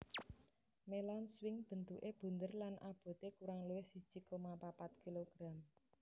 Melon swing bentuke bunder lan abote kurang luwih siji koma papat kg